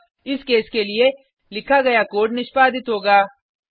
अतः इस केस के लिए लिखा गया कोड निष्पादित होगा